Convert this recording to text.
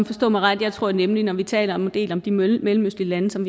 forstå mig ret jeg tror nemlig at når vi taler om en del af de mellemøstlige lande som